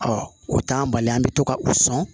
o t'an bali an bɛ to ka u sɔn